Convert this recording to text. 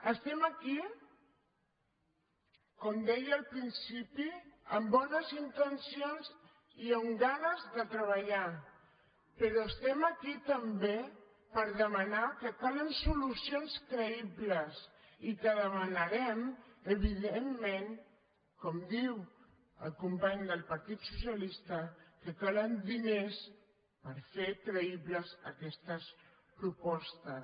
estem aquí com deia al principi amb bones intencions i amb ganes de treballar però estem aquí també per demanar que calen solucions creïbles i que demanarem evidentment com diu el company del partit socialista que calen diners per fer creïbles aquestes propostes